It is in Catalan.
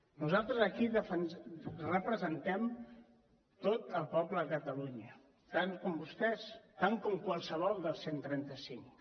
nosaltres aquí representem tot el poble de catalunya tant com vostès tant com qualsevol dels cent i trenta cinc